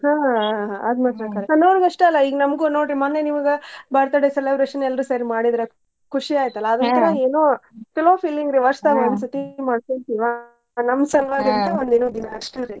ಹಾ ಆದ್ ಮಾತ್ರ ಖರೆ. ಸನ್ನೋರ್ಗ್ ಅಷ್ಟ್ ಅಲ್ಲ ಈಗ್ ನಮ್ಗು ನೋಡ್ರಿ ಮನ್ನೇ ನಿಮ್ಗ birthday celebration ಎಲ್ರೂ ಸೇರಿ ಮಾಡಿದ್ರ ಖುಷಿ ಆಯ್ತಲ್ಲ ಅದ್ ಒಂತರ ಏನೋ ಏನೋ ಚಲೋ feeling ರೀ ವರ್ಷದಾಗ್ ಒನ್ ಸರ್ತಿ ಮಾಡ್ಕೊಂತಿವಾ ನಮ್ ಸಲ್ವಾಗ್ ಅಂತ್ ಒಂದ್ ಏನೋ ದಿನಾ ಆಷ್ಟರೀ.